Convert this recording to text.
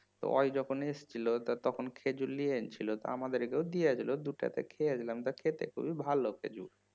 তো ও যখন এসেছিল তো তখন খেজুর লিয়ে এসেছিল আমাদেরকেও দিয়েছিল দু চারটে খেয়েছিলাম তা খেতে খুবই ভালো খেজুর